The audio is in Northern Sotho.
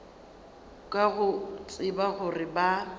ka go tseba gore ba